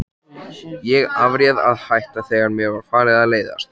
Ég afréð að hætta, þegar mér var farið að leiðast.